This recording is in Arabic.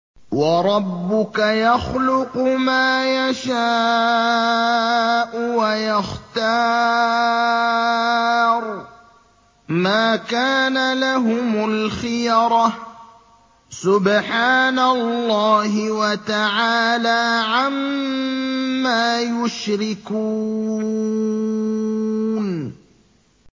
وَرَبُّكَ يَخْلُقُ مَا يَشَاءُ وَيَخْتَارُ ۗ مَا كَانَ لَهُمُ الْخِيَرَةُ ۚ سُبْحَانَ اللَّهِ وَتَعَالَىٰ عَمَّا يُشْرِكُونَ